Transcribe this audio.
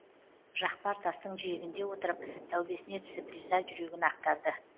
жақпар тастың жиегінде отырып тәубесіне түсіп риза жүрегін ақтарды